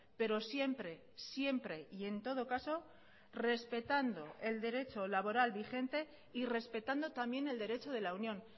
pero siempre siempre y en todo caso respetando el derecho laboral vigente y respetando también el derecho de la unión